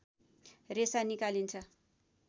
रेशा निकालिन्छ